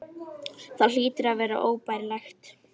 Það hlýtur að vera óbærilegt.